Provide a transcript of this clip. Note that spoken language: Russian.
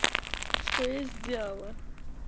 что я сделала